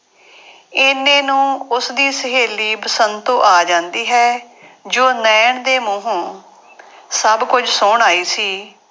ਇੰਨੇ ਨੂੰ ਉਸਦੀ ਸਹੇਲੀ ਬਸੰਤੋ ਆ ਜਾਂਦੀ ਹੈ ਜੋ ਨੈਣ ਦੇ ਮੂੰਹੋਂ ਸਭ ਕੁੱਝ ਸੁਣ ਆਈ ਸੀ।